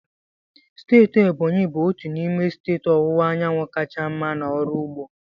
Steeti Ebonyi bụ otu n'ime steeti ọwụwa anyanwụ kacha mma n'ọrụ ugbo.